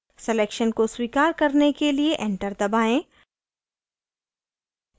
selection को स्वीकार करने के लिए enter दबाएं